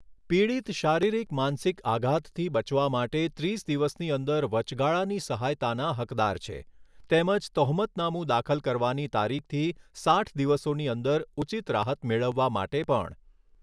પીડિત શારીરિક, માનસિક આઘાતથી બચવા માટે ત્રીસ દિવસની અંદર વચગાળાની સહાયતાનાં હકદાર છે. તેમજ તહોમતનામું દાખલ કરવાની તારીખથી સાઈઠ દિવસોની અંદર ઉચિત રાહત મેળવવા માટે પણ.